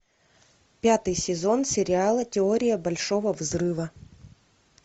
пятый сезон сериала теория большого взрыва